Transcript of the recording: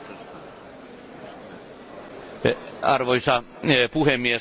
Arvoisa puhemies, äänestin tämän mietinnön puolesta.